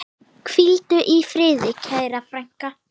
Hvíldu í friði, kæra frænka.